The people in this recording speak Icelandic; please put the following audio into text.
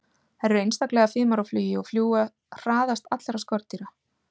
Þær eru einstaklega fimar á flugi og fljúga hraðast allra skordýra.